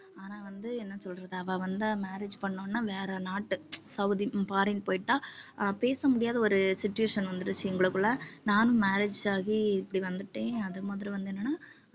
ஆனா வந்து என்ன சொல்றது அவ வந்து marriage பண்ணவுடனே வேற நாட்டு saudi foreign போயிட்டா ஆஹ் பேச முடியாத ஒரு situation வந்துருச்சு எங்களுக்குள்ள நானும் marriage ஆகி இப்படி வந்துட்டேன் அது மாதிரி வந்து என்னன்னா